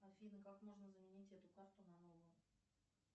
афина как можно заменить эту карту на новую